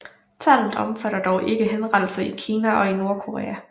Tallet omfatter dog ikke henrettelser i Kina og i Nordkorea